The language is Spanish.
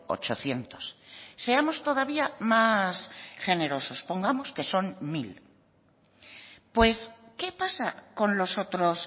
ochocientos seamos todavía más generosos pongamos que son mil pues qué pasa con los otros